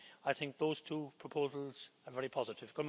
I think those two proposals are very positive.